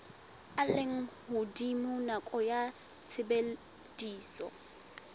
a lehodimo nakong ya tshebediso